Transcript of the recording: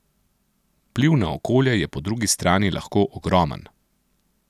Vpliv na okolje je po drugi strani lahko ogromen.